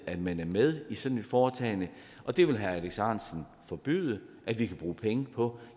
at man er med i sådan et foretagende det vil herre alex ahrendtsen forbyde at vi kan bruge penge på